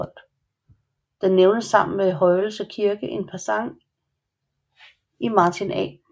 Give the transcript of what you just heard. Den nævnes sammen med Højelse Kirke en passant i Martin A